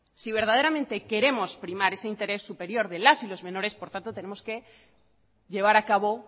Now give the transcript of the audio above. si verdaderamente queremos primar ese interés superior de las y las menores por tanto tenemos que llevar a cabo